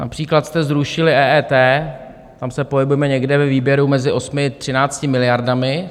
Například jste zrušili EET, tam se pohybujeme někde ve výběru mezi 8 a 13 miliardami.